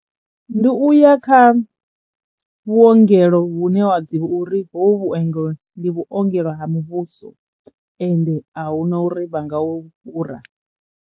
Ndi uya kha vhuongelo vhune wa ḓivha uri hovhu vhuengelo ndi vhuongelo ha muvhuso ende a hu na uri vha nga u fhura.